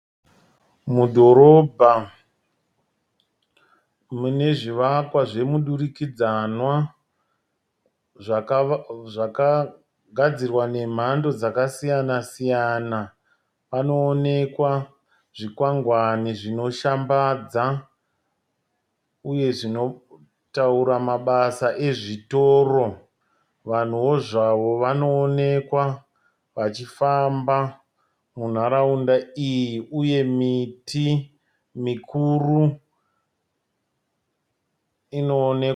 Mudhorobha mune zvivakwa zvemudurikidzanwa zvakagadzirwa nemhando dzakasiyana -siyana. Panoonekwa zvikwangwani zvinoshambadza uye zvinotaura mabasa ezvitoro. Vanhuwo zvavo vanoonekwa vachifamba munharaunda iyi uye miti mikuru inoonekwa.